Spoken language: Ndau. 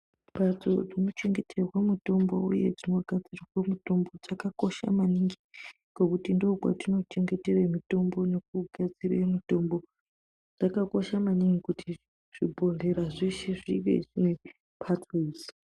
Mhatso dzinochengetere uye dzinogadzirwe mitombo dzakakosha maningi ngekuti ndikwo kwatinochengetera mitombo nekugadzire mitombo. Zvakakosha maningi kuti zvibhedhlera zveshe zvive nemhatso idzi.